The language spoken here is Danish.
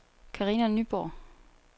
Carina Nyborg